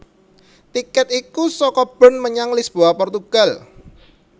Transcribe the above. Tikèt iku saka Bern menyang Lisboa Portugal